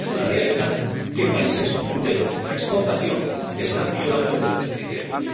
Y es una realidad que países punteros en la exportación están violando los ocho criterios.